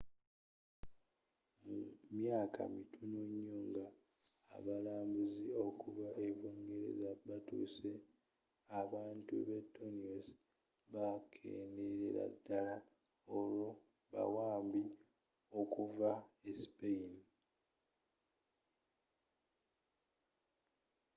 mu myaka mitono nyo nga abalambuzzi okuva e bungereza batuuse abantu b'e tainos bakendelela ddala olwa bawambi okuva e spayini